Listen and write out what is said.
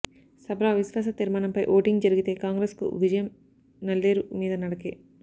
సభలో అవిశ్వాస తీర్మానంపై ఓటింగ్ జరిగితే కాంగ్రెస్కు విజయం నల్లేరు మీద నడకే